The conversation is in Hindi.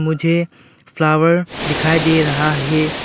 मुझे फ्लावर दिखाई दे रहा है।